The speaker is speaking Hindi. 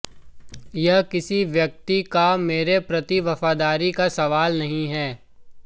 यह किसी व्यक्ति का मेरे प्रति वफादारी का सवाल नहीं है